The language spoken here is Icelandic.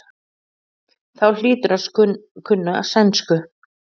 Þá hlýturðu að kunna sænsku.